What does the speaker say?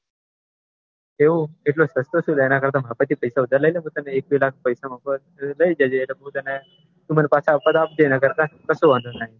એવું એટલો સસ્તો સુ લે માર જોડે પૈસા ઉધાર લઇ લે હું તને એક બે લાખ પૈસા મારી પાસે થી લઈ જજે અને તાર મન પાછા આપવા હોય તો આપજે નકર કઈ વાંધો નઈ